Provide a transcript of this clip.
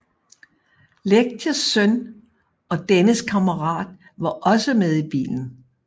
Lerches søn og dennes kammerat var også med i bilen